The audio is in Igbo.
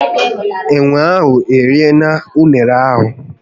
Enwe ahu eriela unere ahu